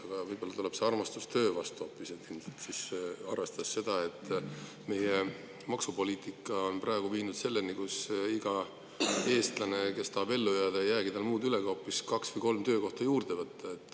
Aga võib-olla tuleb siis hoopis armastus töö vastu, kui arvestada seda, et meie maksupoliitika on praegu viinud meid selleni, et igal eestlasel, kes tahab ellu jääda, ei jäägi muud üle, kui hoopis kaks või kolm töökohta juurde võtta.